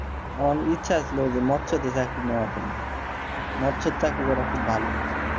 ইচ্ছে গেল মৎস্য এ চাকরি নেওয়ার জন্য মৎস্য চাকরি করা খুব ভালো,